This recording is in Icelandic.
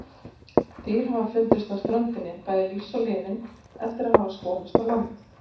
Dýr hafa fundist á ströndinni, bæði lífs og liðin, eftir að hafa skolast á land.